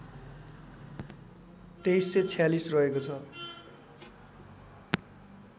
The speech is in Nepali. २३४६ रहेको छ